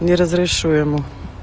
не разрешу ему